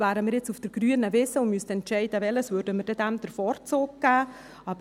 Wären wir jetzt auf der grünen Wiese und müssten entscheiden, welches, würden wir diesem den Vorzug geben.